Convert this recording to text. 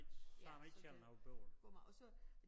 Ja så det kommer og så